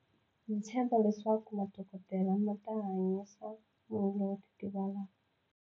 Ndzi tshemba leswaku madokodela ma ta hanyanyisa munhu lowo titivala.